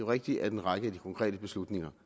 rigtigt at en række af de konkrete beslutninger